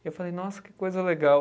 E eu falei, nossa, que coisa legal.